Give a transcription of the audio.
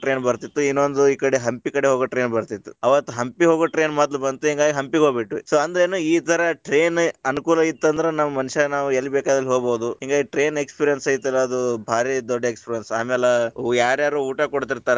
Train ಬರ್ತಿತ್ತ್ , ಇನ್ನೊಂದು ಈ ಕಡೆ ಹಂಪಿ ಕಡೆ ಹೋಗೊ train ಬರ್ತಿತ್ತ್ , ಅವತ್ ಹಂಪಿ ಹೋಗೊ train ಮೊದ್ಲ ಬಂತ ಹಿಂಗಾಗಿ ಹಂಪಿಗ ಹೋಗ್ಬಿಟ್ಟಿವಿ, so ಅಂದ್ರಯೇನ್ ಈ ತರ train ಅನುಕೂಲ ಇತ್ತಂದ್ರ, ನಾವ್ ಮನುಷ್ಯ ಎಲ್ಲಿ ಬೇಕಲ್ಲಿ ಹೊಗಬಹುದು ಹಿಂಗಾಗಿ train experience ಐತಲ್ಲಾ ಅದು ಬಾರಿ ದೊಡ್ಡ experience ಆಮ್ಯಾಲ ಯಾರ್ಯಾರೊ ಊಟಾ ಕೊಡ್ತಿರ್ತಾರ.